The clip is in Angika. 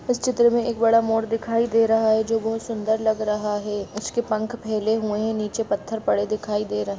इस चित्र में एक बड़ा मोर दिखाई दे रहा है जो बहुत सुंदर लग रहा है उसके पंख फेल हुए हैं नीचे पत्थर पड़े दिखाई दे रहे हैं।